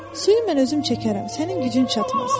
Suyu mən özüm çəkərəm, sənin gücün çatmaz.